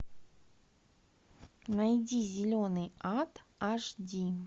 найди зеленый ад аш ди